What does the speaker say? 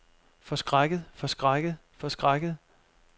forskrækket forskrækket forskrækket